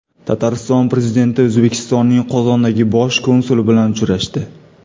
Tatariston prezidenti O‘zbekistonning Qozondagi bosh konsuli bilan uchrashdi.